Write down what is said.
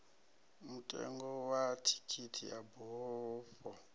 mutengo wa thikhithi ya bufho